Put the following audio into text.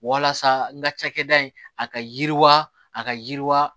Walasa n ka cakɛda in a ka yiriwa a ka yiriwa